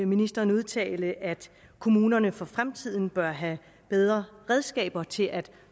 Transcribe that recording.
ministeren udtale at kommunerne for fremtiden bør have bedre redskaber til at